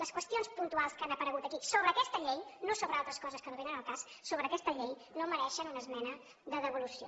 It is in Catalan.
les qüestions puntuals que han aparegut aquí sobre aquesta llei no sobre altres coses que no vénen al cas sobre aquesta llei no mereixen una esmena de devolució